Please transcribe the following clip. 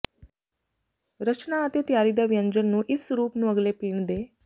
ਰਚਨਾ ਅਤੇ ਤਿਆਰੀ ਦਾ ਵਿਅੰਜਨ ਨੂੰ ਇਸ ਸਰੂਪ ਨੂੰ ਅਗਲੇ ਪੀਣ ਦੇ